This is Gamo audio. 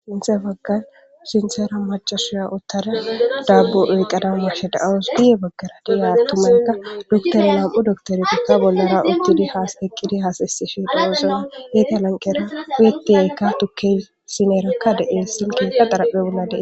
Sinta waggan sinseera macasuya uttara daabbu eyqqada muche da7aos di7e baggara di7e attumanka doktoro lam7u doktoretakka bollora udtidi haas eqqidi haasaysifhi daloosona heeta lanqera wyetiyaykka tukkey sineerakka de7e silkika daraphe ulade